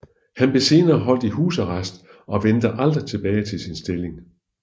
Han blev senere holdt i husarrest og vendte aldrig tilbage til sin stilling